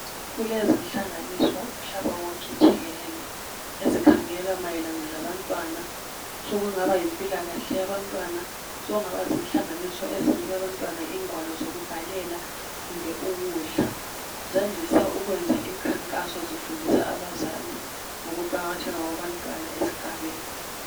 Kulezinhlanganiso umhlaba wonke jikelele ezikhangela mayelana labantwana sokungaba yimpilakahle yabantwana. Sokungaba zinhlanganiso ezinika bantwana ingwalo zokubhalela kumbe ukudla ..Zandise ukwenza inkankaso zifundisa abazali ngokuqakatheka kwabantwana esigabeni .